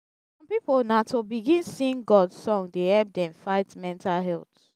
som pipo na to begin sing god song dey help dem fight mental health